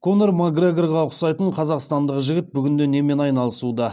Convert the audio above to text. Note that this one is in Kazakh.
конор макгрегорға ұқсайтын қазақстандық жігіт бүгінде немен айналысуда